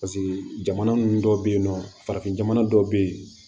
Paseke jamana ninnu dɔw bɛ yen nɔ farafin jamana dɔw bɛ yen